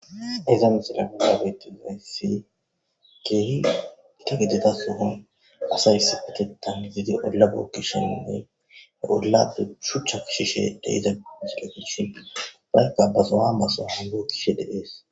Hayssa missileza bolla bettizaysi kehi gitta gidida sohon asati issipeteththan gididi oolla bokkishene he ollappe shuchcha kesishe deiza missile gidishi bagati othishe de'es.